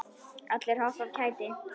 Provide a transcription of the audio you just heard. Allir hoppa af kæti.